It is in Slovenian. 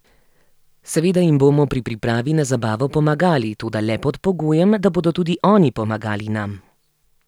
Seveda jim bomo pri pripravi na zabavo pomagali, toda le pod pogojem, da bodo tudi oni pomagali nam.